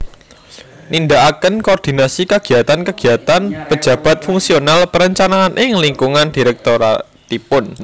Nindakaken koordinasi kegiyatan kegiyatan pejabat fungsional perencanaan ing lingkungan direktoratipun